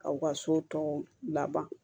K'aw ka so tɔw laban